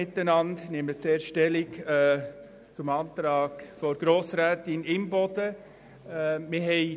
Ich nehme zuerst zum Antrag von Grossrätin Imboden Stellung.